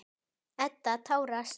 Edda tárast.